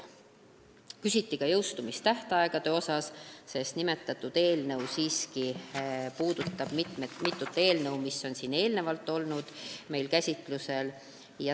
Küsiti ka jõustumistähtaegade kohta, sest nimetatud eelnõu puudutab siiski mitut eelnõu, mis on meil eelnevalt käsitlusel olnud.